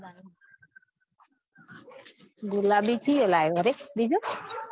ગુલાબી ચિયો લ્યો અરે બીજો